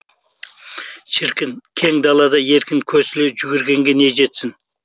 шіркін кең далада еркін көсіле жүгіргенге не жетсін